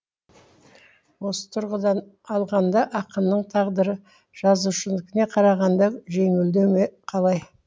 осы тұрғыдан алғанда ақынның тағдыры жазушынікіне қарағанда жеңілдеу ме қалай